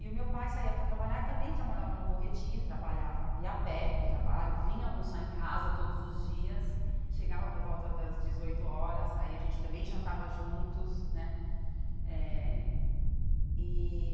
E o meu pai saía para trabalhar e também trabalhava no Bom Retiro, trabalhava, ia a pé para o trabalho, vinha almoçar em casa todos os dias, chegava por volta das dezoito horas, aí a gente também jantava juntos né eh e.